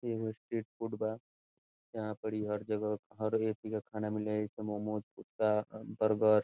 एगो फूड बा यहां पर इ हर एक जगह मोमोज पिज़्ज़ा बर्गर ।